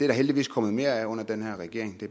der heldigvis kommet mere af under den her regering